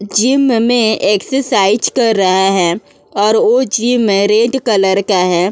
Gym में exercise कर रहा है और ओ जिम रेड कलर का है।